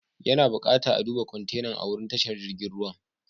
Ya na bukata a'duba kwantenan a'wurin tashar jirigin ruwan.